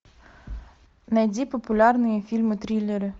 найди популярные фильмы триллеры